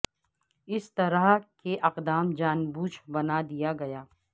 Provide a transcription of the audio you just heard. اس طرح کے اقدام جان بوجھ بنا دیا گیا